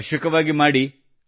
ಅವಶ್ಯವಾಗಿ ಮಾಡಿರಿ